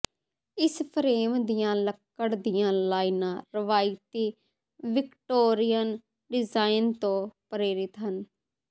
ਇਸ ਫਰੇਮ ਦੀਆਂ ਲੱਕੜ ਦੀਆਂ ਲਾਈਨਾਂ ਰਵਾਇਤੀ ਵਿਕਟੋਰੀਅਨ ਡਿਜ਼ਾਈਨ ਤੋਂ ਪ੍ਰੇਰਿਤ ਹਨ